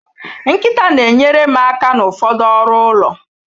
Nkịta na-enyere m aka n'ụfọdụ ọrụ ụlọ